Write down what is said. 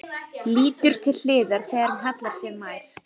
Lítur til hliðar þegar hún hallar sér nær.